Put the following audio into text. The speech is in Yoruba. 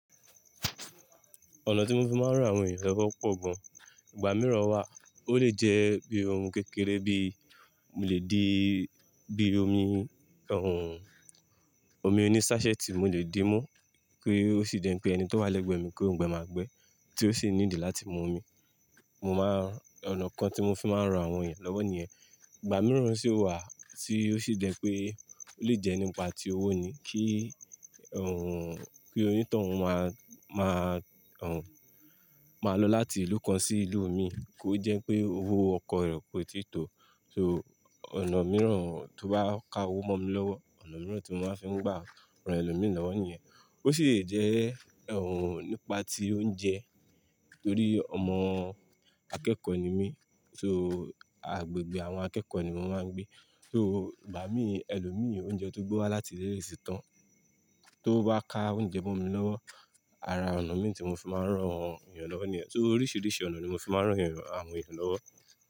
Ọ̀nà tí mo fi máa ń ran àwọn èeyàn lọ́wọ́ pọ̀ gan. Ìgbà mìíràn wà, ó lè jẹ́ bíi ohun kékeré bí mo lè di, bí i omi, òun, omi oní ṣásẹ́ẹ̀tì mo lè dí mu kí ó sì jẹ́ n pé ẹni tó wà lẹ́gbẹ̀ẹ́ mi kí ó gbẹ máa gbẹ tí ó sì need láti mu omi. Mo máa n, ọ̀nà kan tí mo fi máa ń ran àwọn èeyàn lọ́wọ́ nìyẹn. Ìgbà mìíràn sì wà tí ó sì jẹ́ pé ó lè jẹ́ nípa ti owó ni kí, òun, kí onítọ̀hún máa, máa, òun, máa lọ láti ìlú kan sí ìlú mi kó jẹ́ pé owó ọkọ̀ rẹ̀ kòi tíì tó. So ọ̀nà mìíràn tó bá ka owó mọ́ mi lọ́wọ́, ọ̀nà mìíràn tí mo máa fi ń gbà ran ẹlòmíì lọ́wọ́ nìyẹn. Ó sì lè jẹ́, òun, nípa ti oúnjẹ torí ọmọ akẹ́kọ̀ọ́ ni mí, so agbègbè àwọn akẹ́kọ̀ọ́ ni mo máa ń gbé. So igbà mí, ẹlòmíì oúnjẹ tó gbewá láti ile leto tàn tó bá ka oúnjẹ mọ́ mi lọ́wọ́, ara ọ̀nà mii tí mo fi máa ń rán àwọn ènìyàn lọ́wọ́ nìyẹn. So oríṣìíríṣìí ọ̀nà ni mo fi máa ń rán ẹ̀rọ, àwọn èèyàn lọ́wọ́.